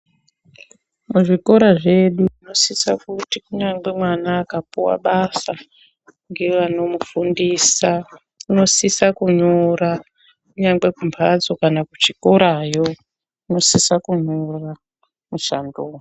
Muzvikora zvedu tinosisa kuti kunyangwe mwana akapuwa basa ngevanomufundisa unosisa kunyora kunyangwe kumbatso kana kuchikorayo unosisa kunyora mushando.